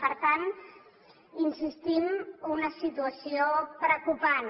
per tant hi insistim una situació preocupant